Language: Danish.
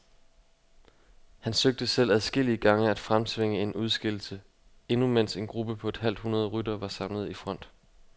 Han søgte selv adskillige gange at fremtvinge en udskillelse, endnu mens en gruppe på et halvt hundrede ryttere var samlet i front.